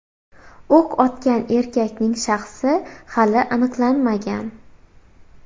O‘q otgan erkakning shaxsi hali aniqlanmagan.